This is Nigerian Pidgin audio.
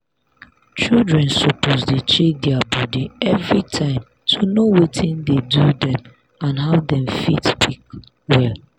children suppose dey check their body everytime to know watin dey do dem and how dem fit quick well.